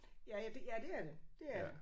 Ja ja det er det det er det